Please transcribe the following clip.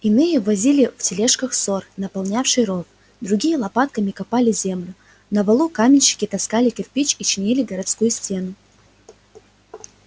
иные возили в тележках сор наполнявший ров другие лопатками копали землю на валу каменщики таскали кирпич и чинили городскую стену